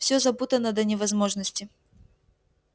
всё запутано до невозможности